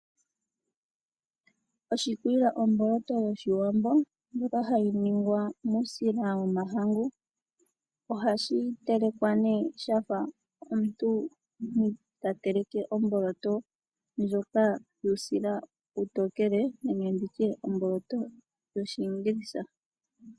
Oshikilwa omboloto yOshiwambo ndjoka hayi ningwa muusila wOmahangu. Ohashi telekwa ne shafa omuntu ta teleke omboloto ndjoka yuusila uutokele nenge nditye omboloto yoshingilisa.